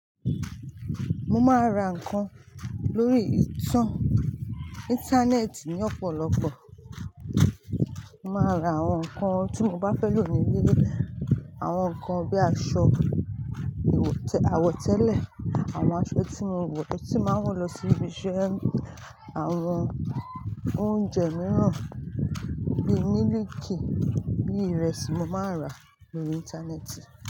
Mo máa ra nǹkan lórí ìtàn- íńtánẹ́ẹ̀tì ní ọ̀pọ̀lọpọ̀. Mo máa ra àwọn nǹkan tí mo bá fẹ́ lò ní ilé, àwọn nǹkan bíi aṣọ ìwọ̀- àwọ̀tẹ́lẹ̀, àwọn aṣọ tí mo wọ̀, tí máa ń wọ̀ lọ sí ibi iṣẹ́, àwọn oúnjẹ mìíràn bíi mílìkì, bíi ìrẹsì mo máa ń rà lórí íńtánẹ́ẹ̀tì.